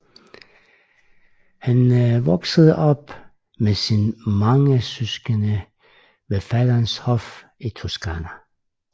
Han voksede op med sine mange søskende ved faderens hof i Toscana